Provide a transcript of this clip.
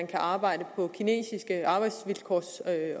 kan arbejdes på kinesiske arbejdsvilkår